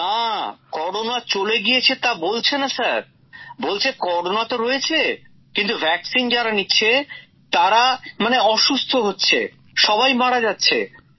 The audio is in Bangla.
না করোনা চলে গিয়েছে তা বলছে না স্যার বলছে করোনা তো রয়েছে কিন্তু টিকা যারা নিচ্ছে তারা মানে অসুস্থ হচ্ছে সবাই মারা যাচ্ছে